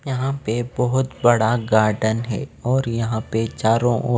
यहाँ पे बहुत बड़ा गार्डन हैं और यहाँ पे चारों ओर--